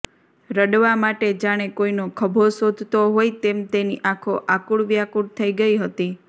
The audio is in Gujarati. રડવા માટે જાણે કોઈનો ખભો શોધતો હોય તેમ તેની આંખો આકુળવ્યાકુળ થઈ ગઈ હતી